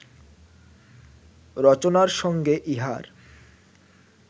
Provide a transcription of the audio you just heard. রচনার সঙ্গে ইহার